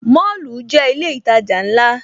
Mọ́lù jẹ́ ilé ìtajà ńlá